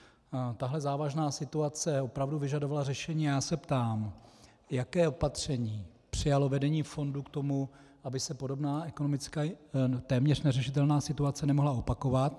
Tahle závažná situace opravdu vyžadovala řešení a já se ptám, jaké opatření přijalo vedení fondu k tomu, aby se podobná, ekonomicky téměř neřešitelná situace nemohla opakovat.